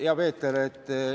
Hea Peeter!